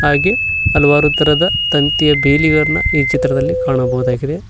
ಹಾಗೆ ಹಲವಾರು ತರಹದ ತಂತಿಯ ಬೇಲಿಗಳನ್ನ ಈ ಚಿತ್ರದಲ್ಲಿ ಕಾಣಬಹುದಾಗಿದೆ.